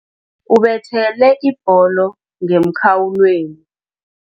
Ubethele ibholo ngemkhawulweni.